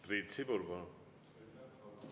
Priit Sibul, palun!